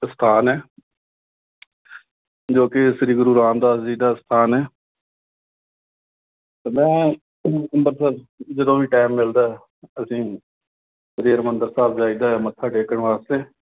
ਸਥਾਨ ਹੈ। ਜੋ ਕਿ ਸ੍ਰੀ ਗੁਰੂ ਰਾਮਦਾਸ ਜੀ ਦਾ ਸਥਾਨ ਹੈ। ਤੇ ਮੈਂ ਅੰਮ੍ਰਿਤਸਰ, ਜਦੋਂ ਵੀ time ਮਿਲਦਾ, ਅਸੀਂ ਸ੍ਰੀ ਹਰਿਮੰਦਰ ਸਾਹਿਬ ਜਾਈ ਦਾ, ਮੱਥਾ ਟੇਕਣ ਵਾਸਤੇ।